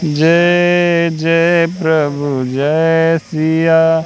जय जय प्रभु जय सिया--